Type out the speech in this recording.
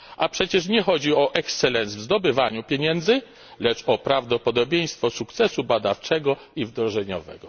A przecież nie chodzi o excellence w zdobywaniu pieniędzy, lecz o prawdopodobieństwo sukcesu badawczego i wdrożeniowego.